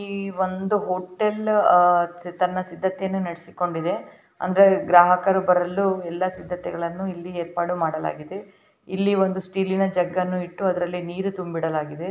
ಈ ಒಂದು ಹೊಟೇಲ್ ಆ ತನ್ನ ಸಿದ್ದತೆಯನ್ನ ನಡೆಸಿಕೊಂಡಿದೆ ಅಂದರೆ ಗ್ರಾಹಕರು ಬರಲು ಎಲ್ಲ ಸಿದ್ದತೆಗಳು ಏರ್ಪಾಟು ಮಾಡಲಾಗಿದೆ ಇಲ್ಲಿ ಒಂದು ಸ್ಟೀಲಿನ ಜಗ್ಗನ್ನ ಇತ್ತು ಅದರಲ್ಲಿ ನೀರು ತುಂಬಿಡಲಾಗಿದೆ.